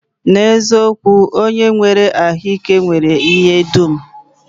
N'eziokwu, onye nwere ahụike nwere ihe dum